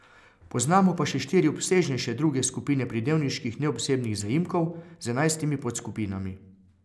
Poznamo pa še štiri obsežnejše druge skupine pridevniških neosebnih zaimkov z enajstimi podskupinami.